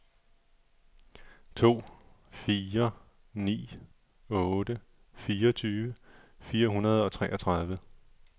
to fire ni otte fireogtyve fire hundrede og treogtredive